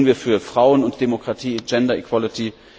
Was tun wir für Frauen und Demokratie Gender Equality?